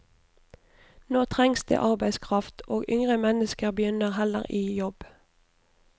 Nå trengs det arbeidskraft, og yngre mennesker begynner heller i jobb.